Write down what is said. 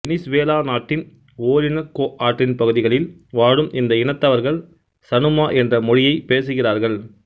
Venezuela நாட்டின் Orinoco ஆற்றின் பகுதிகளில் வாழும் இந்த இனத்தவர்கள் சனுமா என்ற மொழியைப் பேசுகிறார்கள்